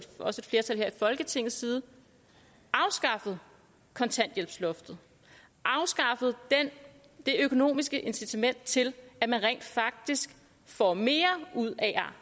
også et flertal i folketingets side afskaffede kontanthjælpsloftet afskaffede det økonomiske incitament til at man rent faktisk får mere ud af at